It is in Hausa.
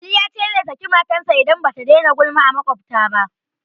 Ali ya ce zai saki matarsa idan ba ta daina gulma a maƙwabta ba